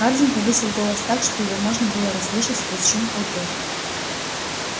хардин повысил голос так что его можно было расслышать сквозь шум толпы